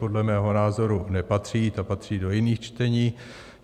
Podle mého názoru nepatří, ta patří do jiných čtení.